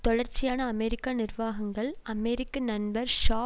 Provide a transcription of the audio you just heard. தொடர்ச்சியான அமெரிக்க நிர்வாகங்கள் அமெரிக்க நண்பர் ஷா